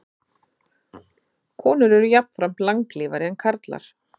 Konur eru jafnframt langlífari en karlar.